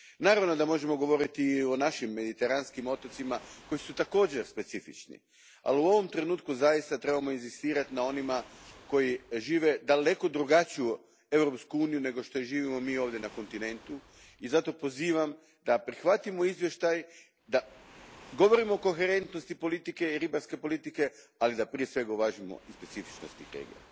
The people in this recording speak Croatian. Naravno da možemo govoriti o našim Mediteranskim otocima koji su također specifični, ali u ovom trenutku zaista trebamo inzistirati na onima koji žive daleko drugačiju Europsku uniju nego što je živimo mi ovdje na kontinentu i zato pozivam da prihvatimo izvještaj, da govorimo o koherentnosti politike i ribarske politike, ali da prije svega uvažimo i specifičnost tih regija.